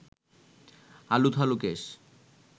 আলুথালু কেশ